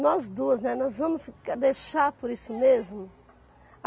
Nós duas, né, nós vamos deixar por isso mesmo?